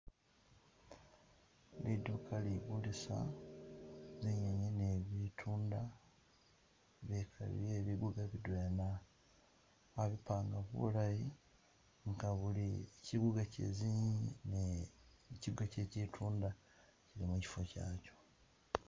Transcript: Liduka ligulisa zinyinyi ni butunda bye biguga bidwena ba bi panga bulayi nga kyiguga kyezinyinyi ne kyiguga kye kyitunda kyili mukyifo kyacho.